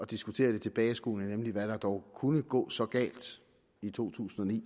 diskutere det tilbageskuende nemlig hvad der dog kunne gå så galt i to tusind og ni